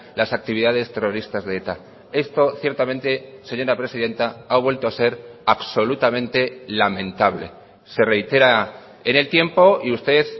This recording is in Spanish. las actividades terroristas de eta esto ciertamente señora presidenta ha vuelto a ser absolutamente lamentable se reitera en el tiempo y usted